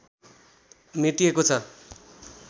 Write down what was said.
मेटिएको छ